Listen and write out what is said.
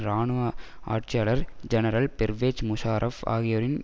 இராணுவ ஆட்சியாளர் ஜெனரல் பெர்வெஜ் முஷாரப் ஆகியோரின்